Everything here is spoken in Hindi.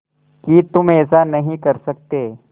कि तुम ऐसा नहीं कर सकते